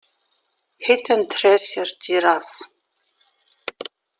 Hidden Treasure Giraffe